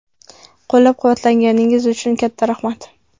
Qo‘llab-quvvatlaganingiz uchun katta rahmat.